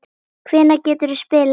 Hvenær geturðu spilað aftur?